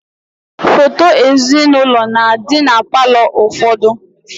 Foto ezinaụlọ na-adị na palọ ụfọdụ